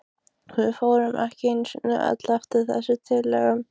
Við fórum í einu og öllu eftir þessum tillögum.